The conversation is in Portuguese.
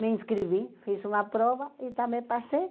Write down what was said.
Me inscrevi, fiz uma prova e também passei.